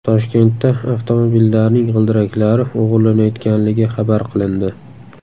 Toshkentda avtomobillarning g‘ildiraklari o‘g‘irlanayotganligi xabar qilindi.